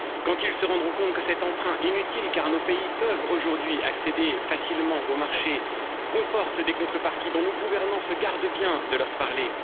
quand ils se rendront compte que cet emprunt inutile, car nos pays peuvent aujourd'hui accéder facilement aux marchés, comporte des contreparties dont nos gouvernants se gardent bien de leur parler